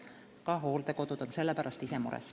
Ka hooldekodud ise on selle pärast mures.